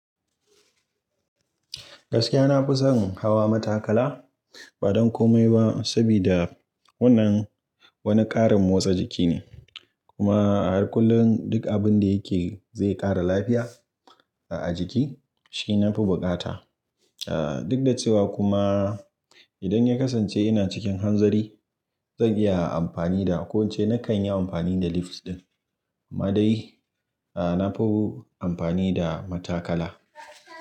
Gaskiya na fi son hawa matakala ba don komai ba, sabida wannan wani ƙarin motsa jiki ne. Kuma a kullum duk abin da yake zai ƙara lafiya a jiki shi nafi buƙata a. Duk da cewa kuma idan ya kasance ina cikin hanzari, zan iya amfani da ko in ce nakan yi amfani da lift ɗin. Amma dai a nafi amfani da matakala.